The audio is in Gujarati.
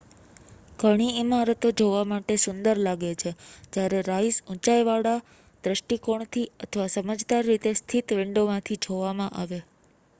ઘણી ઇમારતો જોવા માટે સુંદર લાગે છે જ્યારે riseંચાઇવાળા દૃષ્ટિકોણથી અથવા સમજદાર રીતે સ્થિત વિંડોમાંથી જોવામાં આવે